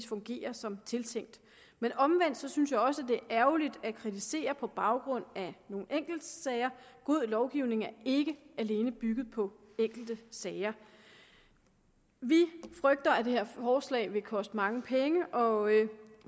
fungerer som tiltænkt men omvendt synes jeg også det er ærgerligt at kritisere på baggrund af nogle enkeltsager god lovgivning er ikke alene bygget på enkelte sager vi frygter at det her forslag vil koste mange penge og